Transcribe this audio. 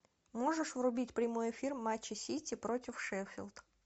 можешь врубить прямой эфир матча сити против шеффилд